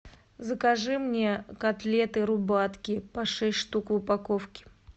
закажи мне котлеты рубатки по шесть штук в упаковке